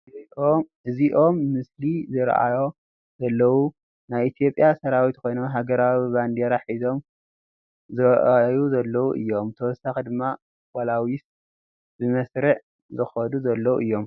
እዚኦም ምስሊ ዝርአዮ ዘለው ናይ ኢትዮጵያ ሰራዊት ኮይኖም ሃገራዊ ባንዴራ ሒዞም ዝርአዮ ዘለው እዮም። ብተወሳኪ ድማ ፖላዊስ ብመስርዕ ዝከዱ ዘለው እዮም ።